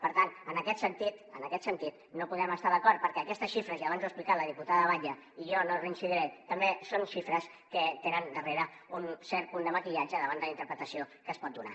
per tant en aquest sentit no podem estar d’acord perquè aquestes xifres i abans ho ha explicat la diputada batlle i jo no hi reincidiré també són xifres que tenen darrere un cert punt de maquillatge davant de la interpretació que es pot donar